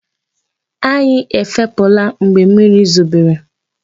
Anyi ẹfepụ̀la mgbe mmiri zobere.